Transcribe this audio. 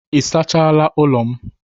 Ị sachaala ụlọ m?